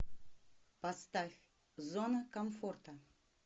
поставь зона комфорта